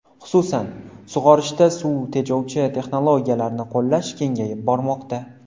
Xususan, sug‘orishda suv tejovchi texnologiyalarni qo‘llash kengayib bormoqda.